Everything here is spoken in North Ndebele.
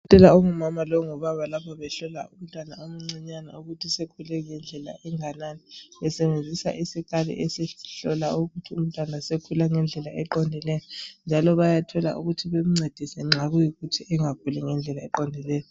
Udokotela ongumama longubaba lapha behlola umntwana omncinyane ukuthi usekhule ngendlela enganani, besebenzisa isikali esihlola ukuthi umntwana usekhule ngendlela eqondileyo, njalo bayathola ukuthi bemncediae, nxa kuyikuthi engakhuli ngendlela eqondileyo..